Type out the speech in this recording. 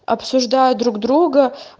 обсуждают друг друга